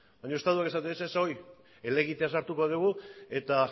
baina estatuak esaten zuen ez ez horri helegitea sartuko dugu eta